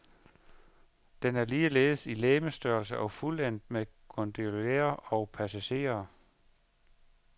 Den er ligeledes i legemsstørrelse og fuldendt med gondoliere og passagerer.